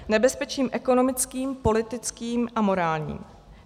Nebezpečím ekonomickým, politickým a morálním.